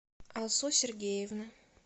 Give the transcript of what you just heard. алсу сергеевны